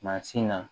Mansin na